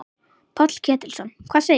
Páll Ketilsson: Hvað segirðu?